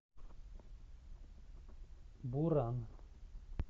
буран